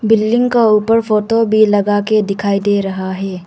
Building का ऊपर photo भी लगाके दिखाई दे रहा है।